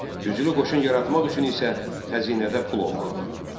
Güclü qoşun yaratmaq üçün isə xəzinədə pul olmalı idi.